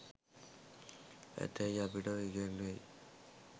ඇතැයි අපට ඉගැන්වෙයි.